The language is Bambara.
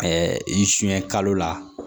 i sun ye kalo la